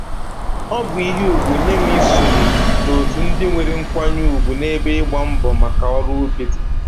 Ọ bụ ihe ugwu nye m isonye n'otu ndị nwere nkwanye ugwu n'ebe ịgba mbọ maka ọrụ ubi dị